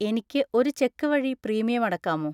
എനിക്ക് ഒരു ചെക്ക് വഴി പ്രീമിയം അടക്കാമോ?